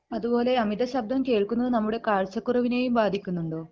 അതുപോലെ അമിത ശബ്ദം കേൾക്കുന്നത് നമ്മുടെ കാഴ്ച്ചക്കുറവിനേം ബാധിക്കുന്നുണ്ടോ?